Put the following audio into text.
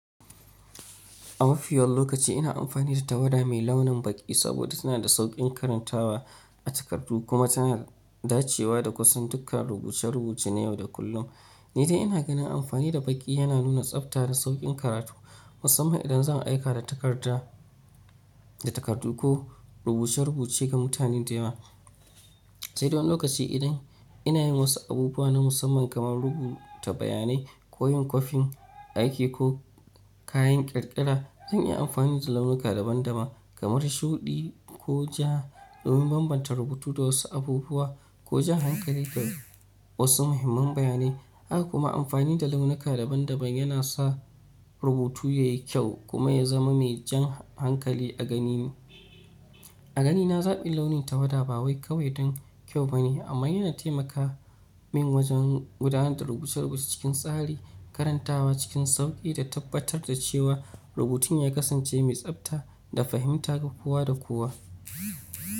A mafi yawan lokaci ina amfani da tawada mai launin baƙi saboda tana da sauƙin karantawa a takardu kuma tana dacewa da kusan dukkan rubuce-rubuce na yau da kullum. Ni dai ina ganin amfani da baƙi yana nuna tsabta da sauƙin karatu, musamman idan zan aika da takarda, da takardu ko rubuce-rubuce ga mutane da yawa. Sai don lokaci idan ina yin wasu abubuwa na musamman kaman rubuta bayanai ko yin kwafin aiki ko kayan ƙirƙira, zan iya amfani da launuka daban-daban kamar shuɗi ko ja domin bambanta rubutu da wasu abubuwa ko jan hankali ga wasu muhimman bayanai. Haka kuma amfani da launuka daban-daban yana sa rubutu yayi kyau kuma ya zama mai jan hankali a ganin, a ganina zaɓin launin tawada ba wai kawai don kyau bane amma yana taimaka min wajen gudanar da rubuce-rubuce cikin tsari, karantawa cikin sauƙi da tabbatar da cewa rubutun ya kasance mai tsabta da fahimta ga kowa da kowa.